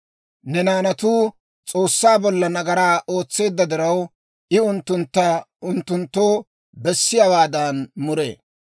Ne naanatuu S'oossaa bolla nagaraa ootseedda diraw, I unttuntta unttunttoo bessiyaawaadan muree.